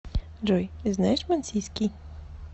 джой знаешь мансийский